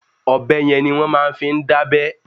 Ọ̀bẹ yen ni wọ́n fi máa ń dábẹ́.